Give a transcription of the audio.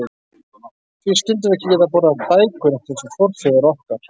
Því skyldum við ekki geta borðað bækur, rétt eins og forfeður okkar?